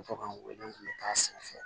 To ka weleli kɛ a sanfɛ